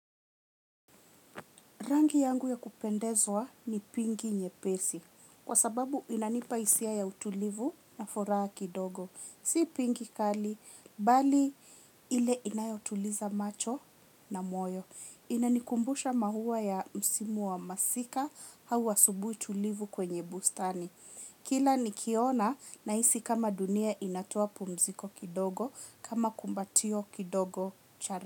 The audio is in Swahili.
Rangi yangu ya kupendezwa ni pinki nyepesi, kwa sababu inanipa hisia ya utulivu na furaha kidogo. Si pinki kali, bali ile inayotuliza macho na moyo. Inanikumbusha maua ya msimu wa masika, au asubuhi utulivu kwenye bustani. Kila nikiona nahisi kama dunia inatoa pumziko kidogo, kama kumbatio kidogo.